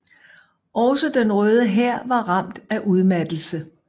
Også Den Røde Hær var ramt af udmattelse